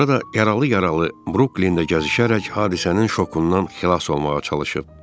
Sonra da yaralı-yaralı Bruklində gəzişərək hadisənin şokundan xilas olmağa çalışıb.